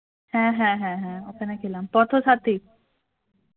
হ্যা হ্যা হ্যা হ্যা ওখানে খেলাম